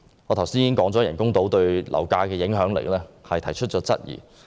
我剛才已就人工島對樓價的影響力提出質疑。